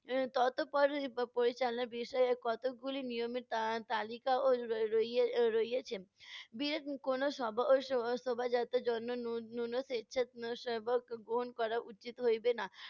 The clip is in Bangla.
এর তত্পর প~ পরিচালনার বিষয়ে কতকগুলি নিয়মে তা~ তালিকা ও রয়ে~ রইয়ে~ রইয়েছেন শোভাযাত্রার জন্য স্বেচ্ছাসেবক গ্রহণ করা উচিত হইবে না।